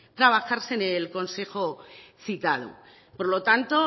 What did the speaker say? trabajarse en el consejo citado por lo tanto